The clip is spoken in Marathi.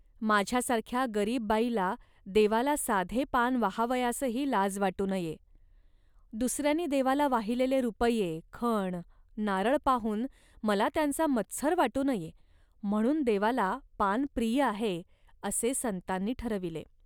माझ्यासारख्या गरीब बाईला देवाला साधे पान वाहावयासही लाज वाटू नये. दुसऱ्यांनी देवाला वाहिलेले रुपये, खण, नारळ पाहून मला त्यांचा मत्सर वाटू नये, म्हणून देवाला पान प्रिय आहे, असे संतांनी ठरविले